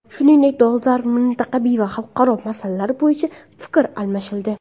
Shuningdek, dolzarb mintaqaviy va xalqaro masalalar bo‘yicha fikr almashildi.